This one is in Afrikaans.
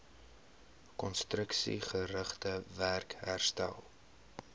konstruksiegerigte werk herstel